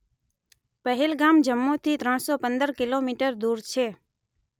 પહેલગામ જમ્મુથી ત્રણ સો પંદર કિલોમીટર દૂર છે.